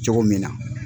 Cogo min na